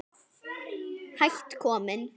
Hætt kominn